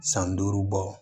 San duuru bɔ